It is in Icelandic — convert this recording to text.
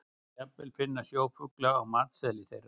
Svo má jafnvel finna sjófugla á matseðli þeirra.